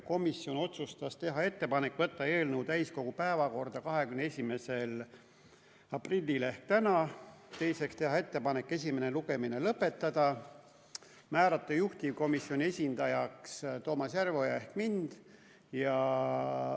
Komisjon otsustas teha ettepaneku võtta eelnõu täiskogu päevakorda 21. aprilliks ehk tänaseks, teiseks teha ettepanek esimene lugemine lõpetada ja määrata juhtivkomisjoni esindajaks Toomas Järveoja ehk mind.